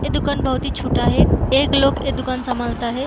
ये दूकान बहुत ही छोटा है | एक लोग ऐ दूकान संभालता है।